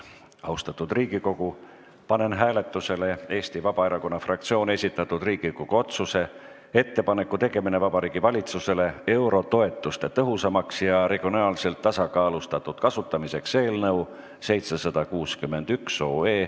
Austatud Riigikogu, panen hääletusele Eesti Vabaerakonna fraktsiooni esitatud Riigikogu otsuse "Ettepaneku tegemine Vabariigi Valitsusele eurotoetuste tõhusamaks ja regionaalselt tasakaalustatud kasutamiseks" eelnõu 761.